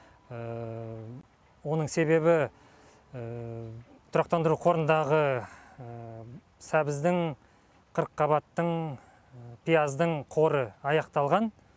оның себебі тұрақтандыру қорындағы сәбіздің қырыққабаттың пияздың қоры аяқталған